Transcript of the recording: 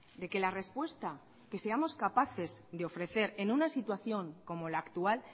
de que la respuesta que seamos capaces de ofrecer en una situación como la actual